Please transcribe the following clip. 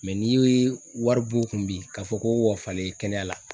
n'i y'o i ye wari b'u kun bi k'a fɔ k'u k'a falen kɛnɛya la